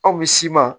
Aw bɛ si ma